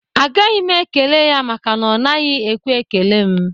Agaghị m ekele ya maka na ọ naghị ekwe ekele m